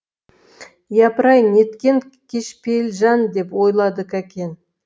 япыр ай неткен кішіпейіл жан деп ойлады кәкен